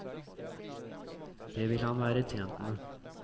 Det vil han være tjent med.